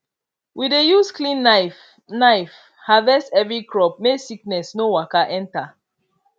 we dey use clean knife knife harvest every crop make sickness no waka enter